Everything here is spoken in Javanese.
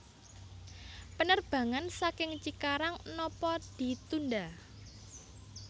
Penerbangan saking Cikarang nopo ditunda